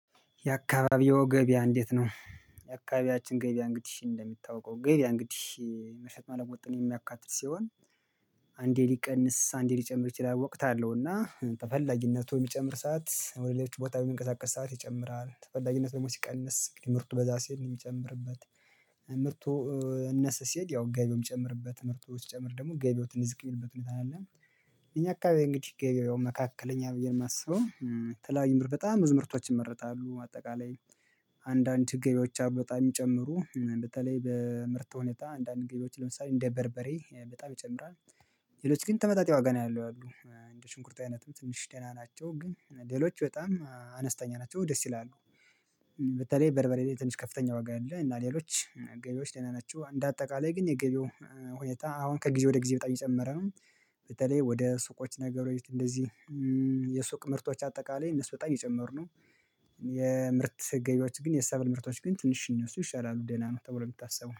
የአካባቢው ገበያ እንዴት ነው? የአካባቢያችን ገበያ እንግዲህ እንደሚታውቀው ገበያ እንግዲህ መሸጥ መለወጥን የሚያካትት ሲሆን። አንዴ ሊቀንስ አንዴ ሊጨምር ይችላል ወቅት አለው እና ተፈላጊነቱ የሚጨምር ሰዓት ወደ ሌሎች ቦታ የሚንቀሳቀስ ሰዓት ይጨምራል። ተፈላጊነት ደግሞ ሲቀንስ እንግዲህ ምርቱ በዛ ሲሄድ የሚጨምርበት ምርቱ እንስ ሲል ያው ገቢውም የምትጨምርበት ምርቱ ሲጨምር ደግሞ ገቢውትን እዚህ የሚልበት ሁኔታ አለ። እኛ አካባቢ እንግዲህ ገበያው መካከለኛ ብዬ ነው የማስበው። ትላንት በጣም ብዙ ምርቶችን ይመረታሉ ባጠቃላይ። አንዳንድ ችግኞች አሉ በጣም የሚጨምሩ በተለይ በምርት ሁኔታ አንዳንድ ገቢዎች ለምሳሌ እንደ በርበሬ በጣም ይጨምራል። ሌሎች ግን ተመጣጣኝ ዋጋ ነው ያለው ያሉት እንደ ሽንኩርት አይነት ትንሽ ደህና ናቸው ግን ሌሎች በጣም አነስተኛ ናቸው ደስ ይላሉ። በተለይ በርበሬ ትንሽ ከፍተኛ ዋጋ አለው እና ሌሎች ገቢዎች ደና ናችው እንደ አጠቃላይ ግን የገቢው ሁኔታ አሁን ከጊዜ ወደ ጊዜ በጣም የጨመረ ነው። በተለይ ወደ ሱቆች ነገሮች እንደዚህ የሱቅ ምርቶች አጠቃላይ እነሱ በጣም የጨመረነው። የምርት ገቢያዎች ግን የሰብል ምርቶች ግን ትንሽን ይሻላሉ ደህና ነው ተብሎ የምታስበው